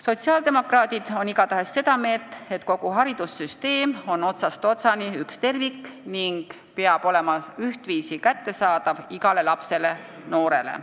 Sotsiaaldemokraadid on seda meelt, et kogu haridussüsteem on otsast otsani üks tervik ning peab olema ühtviisi kättesaadav igale lapsele ja noorele.